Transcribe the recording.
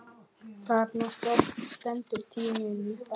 Þarna stendur tíminn í stað.